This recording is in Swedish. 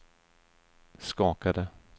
skakade